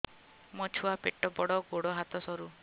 ମୋ ଛୁଆ ପେଟ ବଡ଼ ଗୋଡ଼ ହାତ ସରୁ